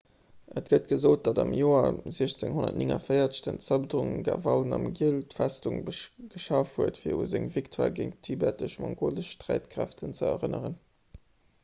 et gëtt gesot datt am joer 1649 den zhabdrung ngawang namgyel d'festung geschaf huet fir u seng victoire géint d'tibetesch-mongolesch sträitkräeften ze erënneren